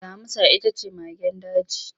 Damusa ita ce magen daji.